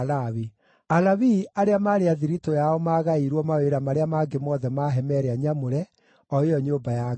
Alawii arĩa maarĩ a thiritũ yao maagaĩirwo mawĩra marĩa mangĩ mothe ma hema ĩrĩa nyamũre, o ĩyo nyũmba ya Ngai.